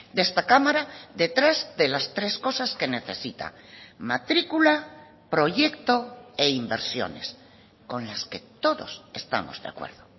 de esta cámara detrás de las tres cosas que necesita matricula proyecto e inversiones con las que todos estamos de acuerdo